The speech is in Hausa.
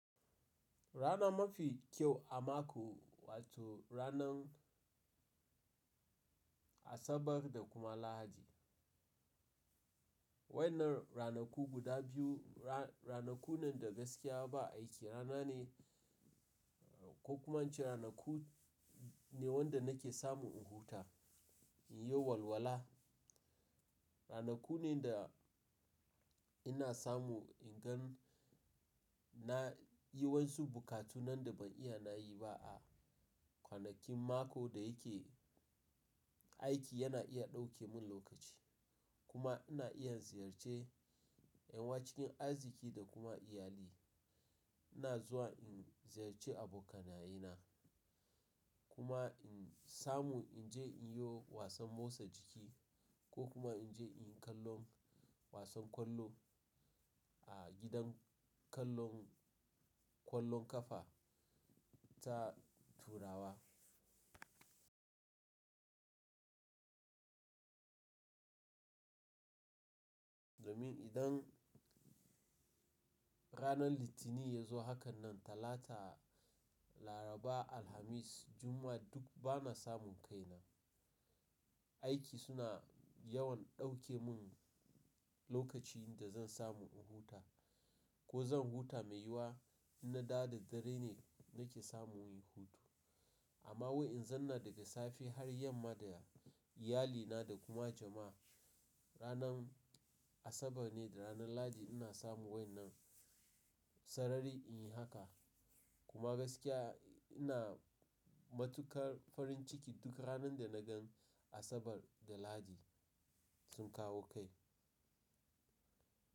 Rana mafi kyau a mako wato ranan Asabar da kuma Lahadi. Wai nan ranaku guda biyu, ranaku nan da gaskiya ba aiki rana ne ko kuma an ce ranaku ne wanda nake samu in huta, in yi walwala. Ranaku ne da ina samu in gan na yi wasu bukatunan da ban iya na yi ba a kwanakin mako da yake aiki yana iya dauke min lokaci. Kuma ina iya ziyarce yawanci cikin arziki da kuma iyali. Ina zuwa in ziyarce abokanaye na kuma in samu in je in yi wasan motsa jiki ko kuma in je in yi kallon wasan kwallo a gidan kallon kwallon kafa ta turawa. Domin idan ranar Litinin ya zo hakan nan Talata, Laraba, Alhamis, Juma'a duk ba na samun kaina. Aiki suna yawan dauke mun lokaci da zan samu in huta ko zan huta mai yiwuwa in na da da dare ne nake samun yin hutu. Amma wai in zan na daga safe har yamma da iyalina da kuma jama'a. Ranar Asabar ne da ranar Lahadi ina samu wai nan sarari in yi haka. Kuma gaskiya ina matukar farin ciki duk ranar da na gan Asabar da Lahadi sun kawo kai.